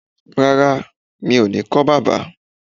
Rárá, mi ò ní kọ́ bábà